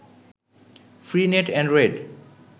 free net Android